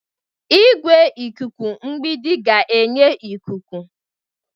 Igwe ikuku mgbidi ga-enye ikuku.